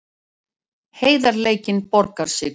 Heiðarleikinn borgaði sig